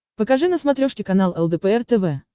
покажи на смотрешке канал лдпр тв